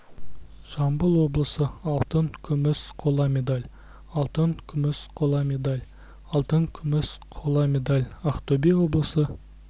жамбыл облысы алтын күміс қола медаль алтын күміс қола медаль алтын күміс қола медаль ақтөбе облысы